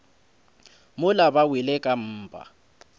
mola ba wele ka mpa